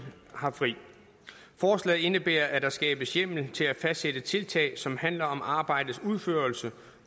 har fri forslaget indebærer at der skabes hjemmel til at fastsætte tiltag som handler om arbejdets udførelse